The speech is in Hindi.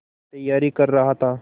तैयारी कर रहा था